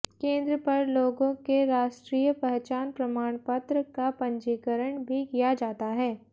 केंद्र पर लोगों के राष्ट्रीय पहचान प्रमाण पत्र का पंजीकरण भी किया जाता है